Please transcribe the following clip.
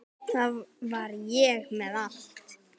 Þar var ég með allt.